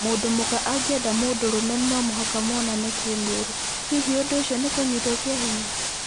Mũndũ mũka angiera mũndũrũme no mũhaka monane kĩmwĩrĩ, hihi ũndũ ũcio ni kũnyitwo kĩa hinya?